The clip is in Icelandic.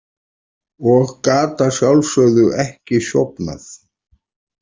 Og gat að sjálfsögðu ekki sofnað.